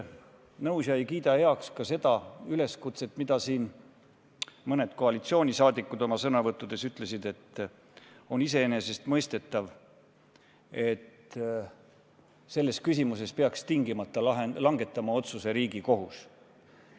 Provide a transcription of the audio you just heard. Ma ei kiida heaks seda üleskutset, mis siin mõned koalitsioonisaadikud oma sõnavõttudes ütlesid: et on iseenesestmõistetav, et selles küsimuses peab tingimata langetama otsuse Riigikohus.